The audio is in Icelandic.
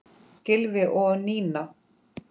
Gylfi og Nína.